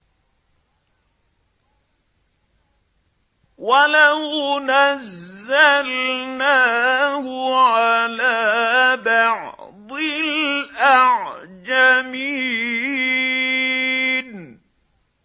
وَلَوْ نَزَّلْنَاهُ عَلَىٰ بَعْضِ الْأَعْجَمِينَ